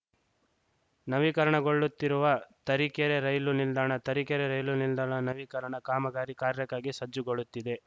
ನವೀಕರಣಗೊಳ್ಳುತ್ತಿರುವ Tarikere rail ನಿಲ್ದಾಣ Tarikere rail ನಿಲ್ದಾಣ ನವೀಕರಣ ಕಾಮಗಾರಿ ಕಾರ್ಯಕ್ಕಾಗಿ ಸಜ್ಜುಗೊಳ್ಳುತ್ತಿದೆ